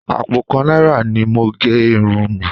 Àpò kan náírà ni mo gẹ irun mi